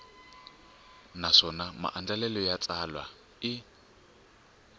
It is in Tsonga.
naswona maandlalelo ya xitsalwana i